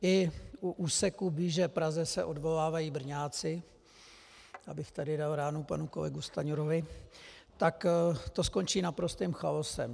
I u úseku blíže Praze se odvolávají Brňáci, abych tady dal ránu panu kolegovi Stanjurovi, tak to skončí naprostým chaosem.